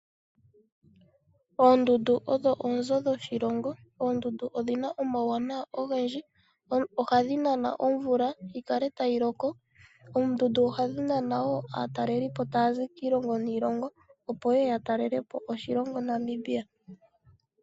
Oondundu odho oonzo dhoshilongo. Oondundu odhi na omauwanawa ogendji, ohadhi nana omvula, yi kale tayi loko. Oondundu ohadhi nana wo aatalelipo taa zi kiilongo niilongo, opo ye ye ya talele po oshilongo Namibia.